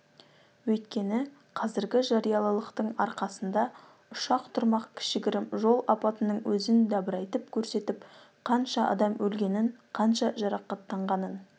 өйткені қазіргі жариялылықтың арқасында ұшақ тұрмақ кішігірім жол апатының өзін дабырайтып көрсетіп қанша адам өлгенін қанша адам жарақаттанғанын